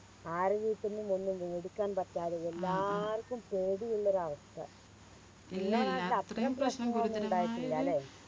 ആരെ വീട്ടിന്നും ഒന്നും മേടിക്കാൻ പറ്റാതെ എല്ലാർക്കും പേടിയുള്ളൊരു അവസ്ഥ